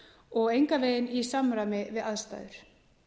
og engan veginn í samræmi við aðstæður